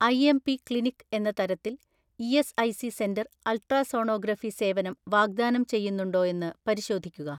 IMP clinic എന്ന തരത്തിൽ ESIC centre ultrasonography സേവനം വാഗ്ദാനം ചെയ്യുന്നുണ്ടോയെന്ന് പരിശോധിക്കുക.